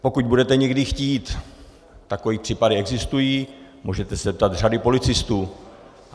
Pokud budete někdy chtít, takové případy existují, můžete se zeptat řady policistů.